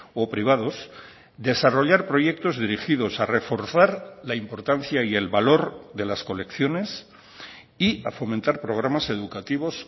o privados desarrollar proyectos dirigidos a reforzar la importancia y el valor de las colecciones y a fomentar programas educativos